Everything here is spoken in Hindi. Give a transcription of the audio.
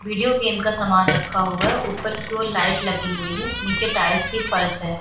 वीडियो गेम का सामान रखा हुआ है। ऊपर की ओर लाइट लगी हुई है। नीचे टाइल्स की फर्श है।